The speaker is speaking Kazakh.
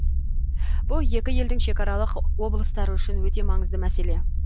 бұл екі елдің шекаралық облыстары үшін өте маңызды мәселе